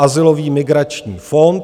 Azylový migrační fond.